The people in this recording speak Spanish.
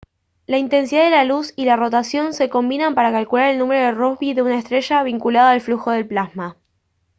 la intensidad de la luz y la rotación se combinan para calcular el número de rossby de una estrella vinculado al flujo de plasma